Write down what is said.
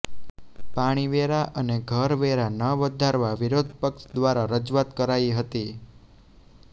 પાણીવેરા અને ઘરવેરા ન વધારવા વિરોધપક્ષ દ્વારા રજૂઆત કરાઇ હતી